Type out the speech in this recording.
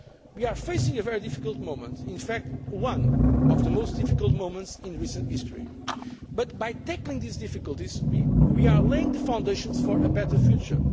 We are facing a very difficult moment in fact, one of the most difficult moments in recent history but, by tackling these difficulties, we are laying the foundations for a better future.